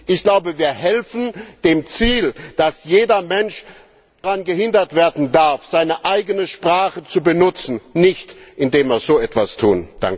Ich glaube, wir helfen dem Ziel, dass kein Mensch daran gehindert werden darf, seine eigene Sprache zu benutzen nicht, indem wir so etwas tun.